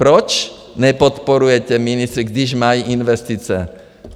Proč nepodporujete ministry, když mají investice.